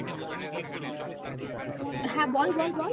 হ্যাঁ বল বল বল